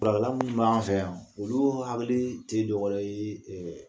min b'an fɛ yan olu hakili tɛ jɔyɔrɔ ye ɛɛ